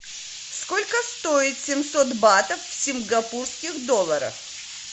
сколько стоит семьсот батов в сингапурских долларах